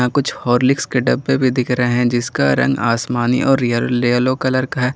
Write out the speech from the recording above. कुछ हॉर्लिक्स के डब्बे भी दिख रहे हैं जिसका रंग आसमानी और येलो कलर का है।